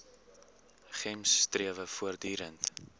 gems strewe voortdurend